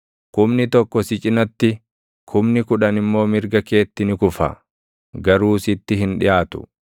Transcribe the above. Kumni tokko si cinatti, kumni kudhan immoo mirga keetti ni kufa; garuu sitti hin dhiʼaatu.